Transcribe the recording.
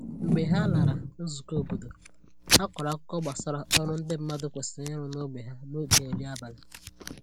Mgbe ha lara nzùkọ̀ óbọ̀dò, ha kọrọ àkùkọ̀ gbasà ọrụ ndị mmadụ kwesịrị ịrụ n’ógbè ha n’oge nri abalị